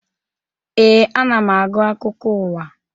Ee, ana m agụ akụkọ ụwa.